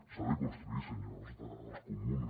s’ha de construir senyors dels comuns